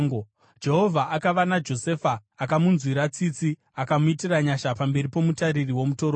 Jehovha akava naJosefa; akamunzwira tsitsi akamuitira nyasha pamberi pomutariri womutorongo.